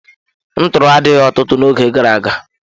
Ntọọrọ adịghị ọtụtụ n'oge gara aga.